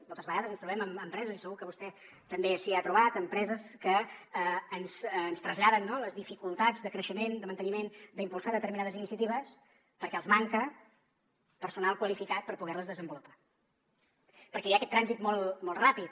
moltes vegades ens trobem amb empreses i segur que vostè també s’hi ha trobat que ens traslladen no les dificultats de creixement de manteniment d’impulsar determinades iniciatives perquè els manca personal qualificat per poder les desenvolupar perquè hi ha aquest trànsit molt ràpid